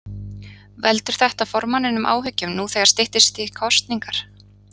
Veldur þetta formanninum áhyggjum nú þegar styttist í kosningar?